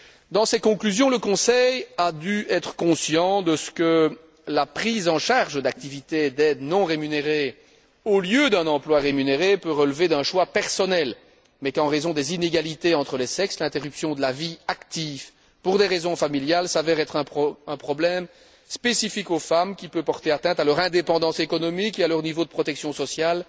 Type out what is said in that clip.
Dans ses conclusions, le Conseil a dû être conscient de ce que la prise en charge d'activités d'aide non rémunérées, au lieu d'un emploi rémunéré, peut relever d'un choix personnel, mais qu'en raison des inégalités entre les sexes, l'interruption de la vie active pour des raisons familiales s'avère être un problème spécifique aux femmes, qui peut porter atteinte à leur indépendance économique et à leur niveau de protection sociale,